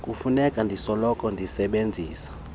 kufuneka ndisoloko ndisebenzisa